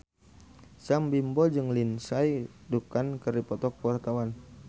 Sam Bimbo jeung Lindsay Ducan keur dipoto ku wartawan